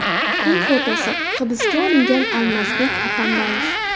Kun fotosi: Hibsga olingan Almazbek Atambayev.